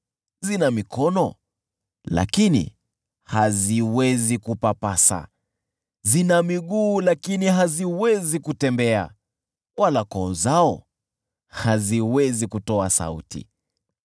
zina mikono, lakini haziwezi kupapasa, zina miguu, lakini haziwezi kutembea; wala koo zao haziwezi kutoa sauti.